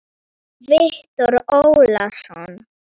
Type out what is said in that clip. Viktor Ólason.